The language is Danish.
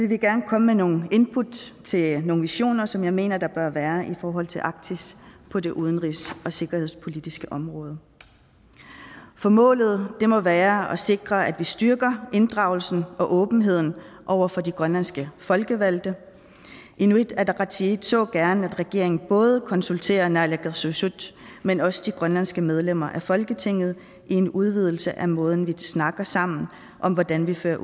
vi gerne komme med nogle input til nogle visioner som jeg mener der bør være i forhold til arktis på det udenrigs og sikkerhedspolitiske område for målet må være at sikre at vi styrker inddragelsen og åbenheden over for de grønlandske folkevalgte inuit ataqatigiit så gerne at regeringen både konsulterer naalakkersuisut men også de grønlandske medlemmer af folketinget i en udvidelse af måden vi snakker sammen om hvordan vi fører